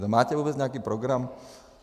Máte vůbec nějaký program?